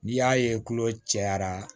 N'i y'a ye tulo cɛyara